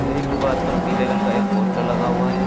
र एक दीवार पर पीले रंग का एक पोस्टर लगा हुआ है।